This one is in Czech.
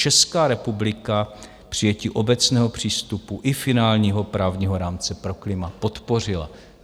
Česká republika přijetí obecného přístupu i finálního právního rámce pro klima podpořila.